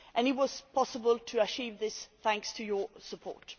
It was possible to achieve this thanks to your support.